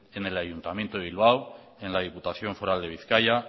en el ayuntamiento de bilbao en la diputación foral de bizkaia